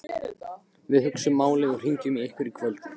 Við hugsum málið og hringjum í ykkur í kvöld